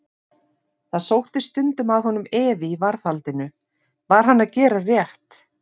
Það sótti stundum að honum efi í varðhaldinu: var hann að gera rétt?